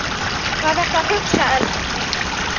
Hvað ertu að hugsa, elskan?